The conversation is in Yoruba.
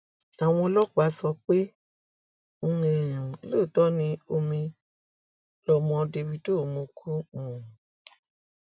àwọn ọlọpàá sọ pé um lóòótọ ni omi lọmọ dávido mu kú um